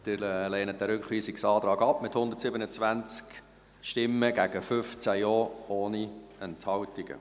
Sie lehnen diesen Rückweisungsantrag ab, mit 127 Nein- gegen 15 Ja-Stimmen ohne Enthaltungen.